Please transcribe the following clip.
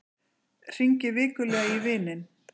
Hringir vikulega í vininn